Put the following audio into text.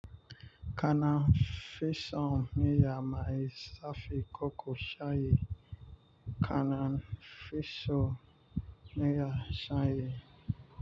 Kanan fi son miya mai zafi koko shayi. Kanan fi son miya shayi.